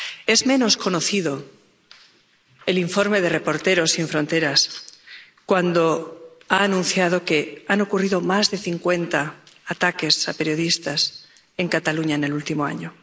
Es menos conocido el informe de Reporteros sin Fronteras que ha denunciado que han ocurrido más de cincuenta ataques a periodistas en Cataluña en el último año